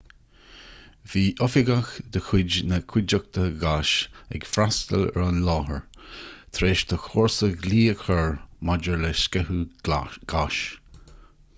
bhí oifigeach de chuid na cuideachta gáis ag freastail ar an láthair tar éis do chomharsa glao a chur maidir le sceitheadh gáis